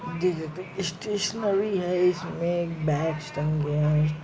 D यह stationery है। उसमे बैग टंगे हैं।